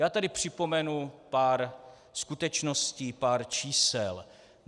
Já tady připomenu pár skutečností, pár čísel.